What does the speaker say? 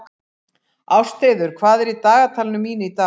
Ástheiður, hvað er í dagatalinu mínu í dag?